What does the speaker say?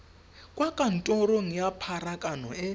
kwa kantorong ya pharakano e